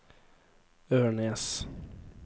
Ørnes